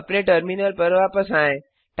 अपने टर्मिनल पर वापस आएँ